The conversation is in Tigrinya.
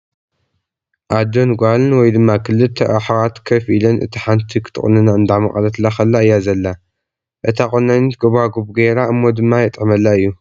ዓዶን ጓልን ወ ይ ድማ ክልተ ኣሓት ከፍ ኢለን እታ ሓንቲ ኽትቑንና እንዳመቐለትላ ኸላ እያ ዘላ እታ ቖናኒን ጎባጉብ ገይራ እሞ ድማ የጥዕመላ እዩ ።